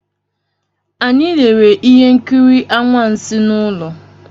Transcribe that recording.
Anyị lere ihe nkiri anwansi n'ụlọ.